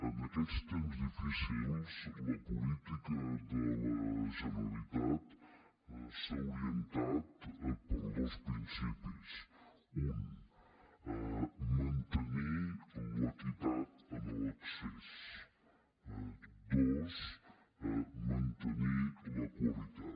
en aquests temps difícils la política de la generalitat s’ha orientat per dos principis un mantenir l’equi tat en l’accés dos mantenir la qualitat